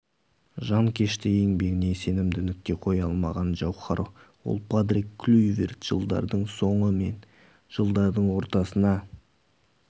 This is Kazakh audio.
жанкешті еңбегіне сенімді нүкте қоя алмаған жауһар ол патрик клюйверт жылдардың соңы мен жылдардың ортасына